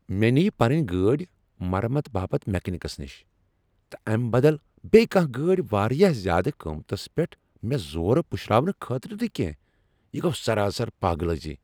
مےٚ نیہ پنٕنۍ گٲڑۍ مرمت باپت میکینکس نش، تہٕ امہ بدل بیٚیہ کانٛہہ گٲڑۍ واریاہ زیادٕ قیمتس پیٹھ مےٚ زورٕ پشراونہٕ خٲطرٕ نہٕ کیٚنٛہہ۔ یہ گو سراسر پاگلٲزی!